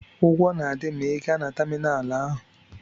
Ụgwọ na-adị ma ị gaa na tamịnalụ ahụ.